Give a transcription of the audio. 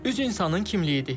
Üz insanın kimliyidir.